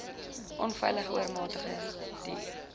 onveilige oormatige duur